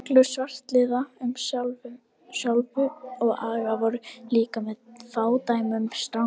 Reglur svartliða um þjálfun og aga voru líka með fádæmum strangar.